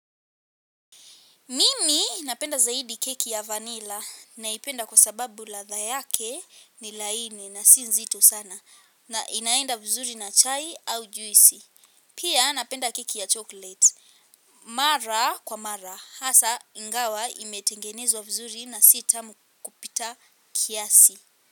Mimi napenda zaidi keki ya vanilla naipenda kwa sababu ladha yake ni laini na si nzito sana na inaenda vizuri na chai au juisi. Pia napenda keki ya chocolate. Mara kwa mara hasa ingawa imetengenezwa vzuri na si tamu kupita kiasi.